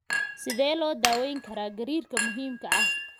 Sidee loo daweyn karaa gariirka muhiimka ah?